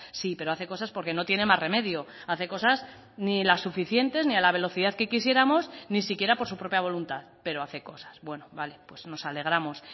sí pero hace cosas porque no tiene más remedio hace cosas ni las suficientes ni a la velocidad que quisiéramos ni siquiera por su propia voluntad pero hace cosas bueno vale pues nos alegramos